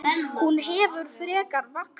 Hún hefur frekar vaxið.